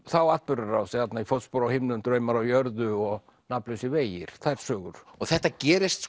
þá atburðarás þarna í fótspor á himnum draumar á jörðu og nafnlausir vegir þær sögur þetta gerist